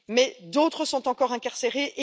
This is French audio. Mais d'autres sont encore incarcérées